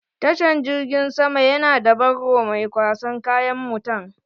Tashan jirgin sama na da barro mai kwasan kayan mutan